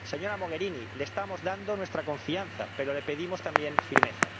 Señora Mogherini, le estamos dando nuestra confianza, pero le pedimos también firmeza.